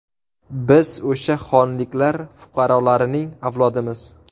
Biz o‘sha xonliklar fuqarolarining avlodimiz.